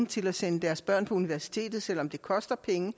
til at sende deres børn på universitetet selv om det koster penge